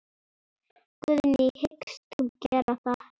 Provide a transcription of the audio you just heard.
Guðný: Hyggst þú gera það?